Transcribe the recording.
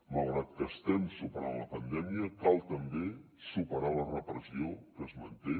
malgrat que estem superant la pandèmia cal també superar la repressió que es manté